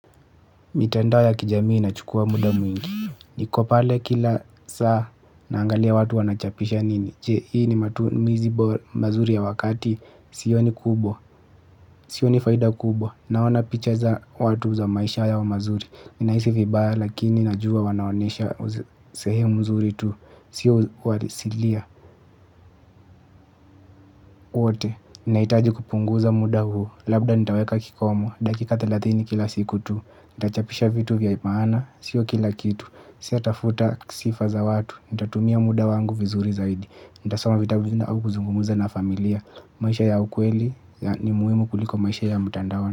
Mitandao ya kijamii na chukua muda mwingi, ni ko pale kila saa naangalia watu wanachapisha nini, je hii ni matumizi mazuri ya wakati, sioni kubwa, sioni faida kubwa, naona picha za watu za maisha ya wa mazuri, ninahisi vibaya lakini najua wanaonesha sehemu nzuri tu, sio uhalisilia wote, naitaji kupunguza muda huo. Labda nitaweka kikomo, dakika thelathini kila siku tu nitachapisha vitu vya maana sio kila kitu siyatafuta sifa za watu nitatumia mda wangu vizuri zaidi nitasoma vitabu au nikungumza na familia maisha ya ukweli ni muhimu kuliko maisha ya mtandaoni.